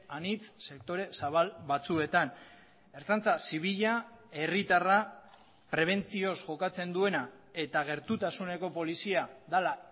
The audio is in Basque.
anitz sektore zabal batzuetan ertzaintza zibila herritarra prebentzioz jokatzen duena eta gertutasuneko polizia dela